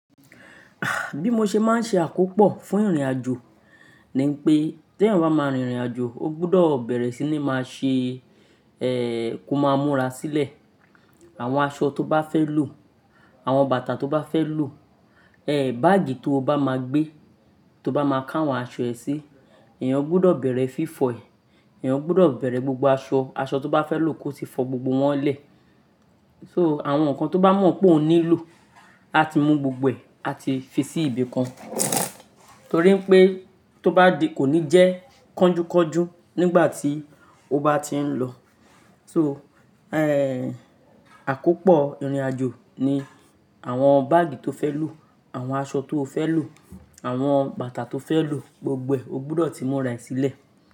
Ah! Bí mo ṣe máa ń ṣe àkópọ̀ fún ìrìnàjò ni npé, te ẹeyan bá máa rìn ìrìnàjò, o gbudọ bẹ̀rẹ̀ sí ní máa ṣe, ẹ́ kò máa múra sílẹ̀. Àwọn aṣọ tó bá fẹ́ lo, àwọn bàtà tó bá fẹ́ lo, ẹ́ báàgì tí o bá máa gbé, tó bá máa ká àwọn aṣọ ẹ sí, ẹ̀eyàn gbudọ̀ bẹ̀rẹ̀ fífọ̀ ẹ̀, ẹ̀eyàn gbudọ̀ bẹ̀rẹ̀ gbogbo aṣọ, aṣọ tó bá fẹ́ lo kó ti fọ gbogbo wọ́n lẹ̀. So àwọn nǹkan tó bá mọ̀ pé o nílò, a ti mú gbogbo ẹ̀, a ti fi sí ibì kan. Torí pé tó bá di, kò ní jẹ́ kanjúkọ́jú nígbà tí o bá ti ń lọ. So ẹ́ àkópọ̀ ìrìnàjò ni àwọn báàgì tó fẹ́ lo, àwọn aṣọ tó o fẹ́ lo, àwọn bàtà tó fẹ́ lo, gbogbo ẹ̀ o gbudọ̀ tí múra ẹ sílẹ̀